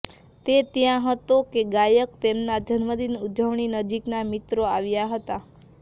તે ત્યાં હતો કે ગાયક તેમના જન્મદિન ઉજવણી નજીકના મિત્રો આવ્યા હતા